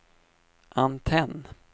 antenn